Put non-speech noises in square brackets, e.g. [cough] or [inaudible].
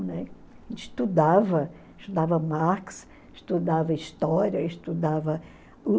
[unintelligible] estudava estudava Marx, estudava história, estudava